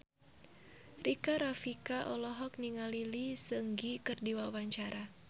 Rika Rafika olohok ningali Lee Seung Gi keur diwawancara